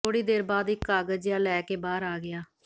ਥੋੜ੍ਹੀ ਦੇਰ ਬਾਅਦ ਇਕ ਕਾਗਜ਼ ਜਿਹਾ ਲੈ ਕੇ ਬਾਹਰ ਆ ਗਿਆ